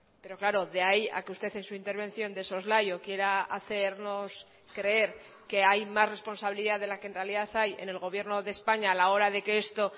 pero claro de ahí a que usted en su intervención de soslayo quiera hacernos creer que hay más responsabilidad de la que en realidad hay en el gobierno de españa a la hora de que esto